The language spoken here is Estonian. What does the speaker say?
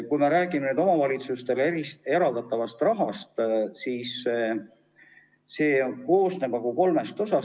Kui me räägime omavalitsustele eraldatavast rahast, siis see koosneb kolmest osast.